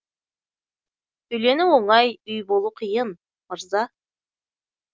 үйлену оңай үй болу қиын мырза